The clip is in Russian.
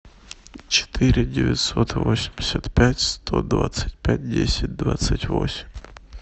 четыре девятьсот восемьдесят пять сто двадцать пять десять двадцать восемь